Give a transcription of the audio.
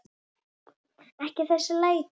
Ekki þessi læti.